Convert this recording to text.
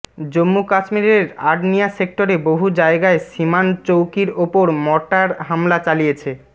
জম্মু কাশ্মীরের আর্নিয়া সেক্টরে বহু জায়গায় সীমান চৌকির ওপর মর্টার হামলা চালিয়েছে